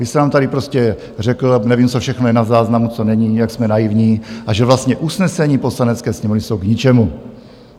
Vy jste nám tady prostě řekl - nevím, co všechno je na záznamu, co není - jak jsme naivní a že vlastně usnesení Poslanecké sněmovny jsou k ničemu.